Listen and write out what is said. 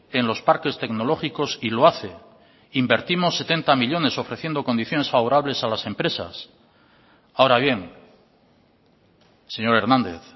en los parques tecnológicos y lo hace invertimos setenta millónes ofreciendo condiciones favorables a las empresas ahora bien señor hernández